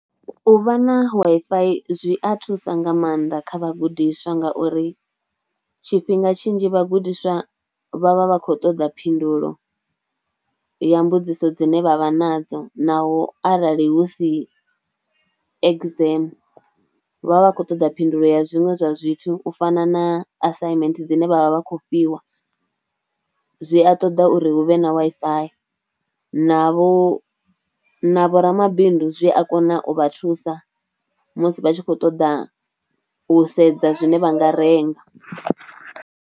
U vha na Wi-Fi zwi a thusa nga maanḓa kha vhagudiswa ngauri tshifhinga tshinzhi vhagudiswa vha vha vha khou ṱoḓa phindulo ya mbudziso dzine vha vha nadzo naho arali hu si exam vha vha vha kho ṱoḓa phindulo ya zwiṅwe zwa zwithu u fana na assignment dzine vha vha vha kho fhiwa, zwi a ṱoḓa uri hu vhe na Wi-Fi, na vho na vho ramabindu zwi a kona u vha thusa musi vha tshi kho ṱoḓa u sedza zwine vha nga renga.